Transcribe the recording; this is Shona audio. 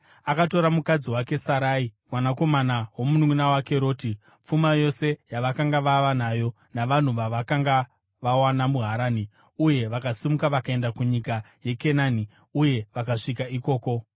Akatora mukadzi wake Sarai, mwanakomana womununʼuna wake Roti, pfuma yose yavakanga vava nayo, navanhu vavakanga vawana muHarani, uye vakasimuka vakaenda kunyika yeKenani, uye vakasvika ikoko.